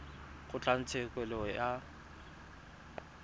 kgotlatshekelo